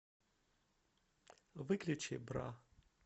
выключи бра